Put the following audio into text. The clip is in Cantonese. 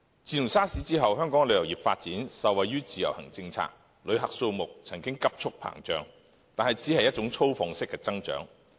自 SARS 後，香港的旅遊業發展受惠於自由行政策，旅客數目曾急速膨脹，但只是一種粗放式的增長。